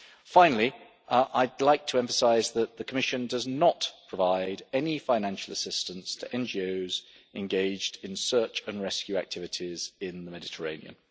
Finally I would like to emphasise that the Commission does not provide any financial assistance to NGOs engaged in search and rescue activities in the Mediterranean.